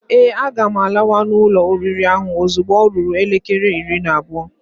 Ee, a ga m lawa na ulo oriri ahụ ozugbo ọ ruru elekere iri na abụọ.